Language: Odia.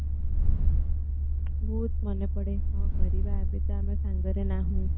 ବହୁତ ମନେ ପଡ଼େ କଣ କରିବା ଏବେ ତ ଆମେ ସାଙ୍ଗରେ ନାହୁଁ